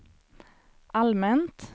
allmänt